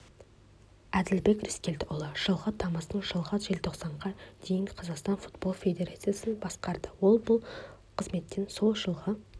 әділбек рыскелдіұлы жылғы тамыздан жылғы желтоқсанға дейін қазақстан футбол федерациясын басқарды ол бұл қызметтен сол жылғы